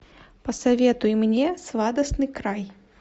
посоветуй мне сладостный край